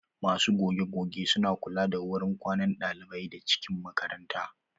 Masu goge goge su na kula da wurin kwanan ɗalibai da cikin makaranta.